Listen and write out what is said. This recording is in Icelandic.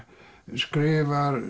skrifar